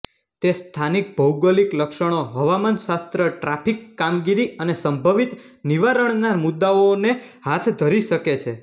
તે સ્થાનિક ભૌગોલિક લક્ષણો હવામાનશાસ્ત્ર ટ્રાફિક કામગીરી અને સંભવિત નિવારણના મુદ્દાઓને હાથ ધરી શકે છે